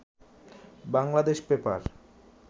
Bangladesh paper